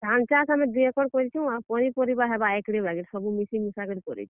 ଧାନ୍ ଚାଷ୍ ଆମେ ଦୁଇ ଏକର୍ କରିଛୁଁ। ଆଉ ପନିପରିବା ହେବା ଏକଡେ ବାଗିର କରିଛୁଁ। ସବୁ ମିଶି ମୁଶା କି କରିଛୁଁ।